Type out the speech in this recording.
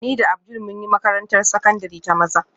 Ni da Abdul mun yi makarantar sakandare ta maza